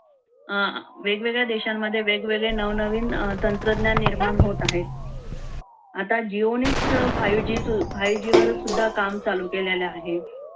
अं वेगवेगळ्या देशांमध्ये वेगवेगळ्या नवनवीन अं तंत्रज्ञान निर्माण होत आहेत. आता jio नेच five g वर सुद्धा काम चालू केलेला आहे.